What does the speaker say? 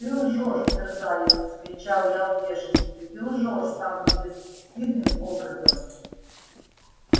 ты лжёшь мерзавец вскричал я в бешенстве ты лжёшь самым бесстыдным образом